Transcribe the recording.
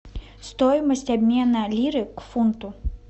стоимость обмена лиры к фунту